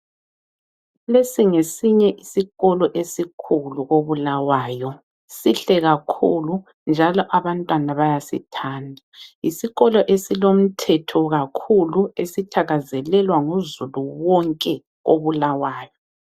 Lesi ngesinye isikolo esikhulu ko Bulawayo ,sihle kakhulu njalo abantwana bayasithanda. Yisikolo esilomthetho kakhulu esithakazelelwa nguzulu wonke ko Bulawayo.